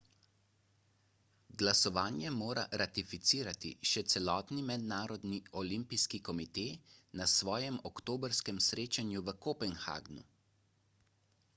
glasovanje mora ratificirati še celotni mednarodni olimpijski komite na svojem oktobrskem srečanju v kopenhagnu